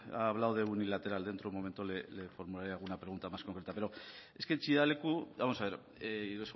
ha hablado de unilateral dentro de un momento le formularé alguna pregunta más concreta pero es que chillida leku vamos a ver y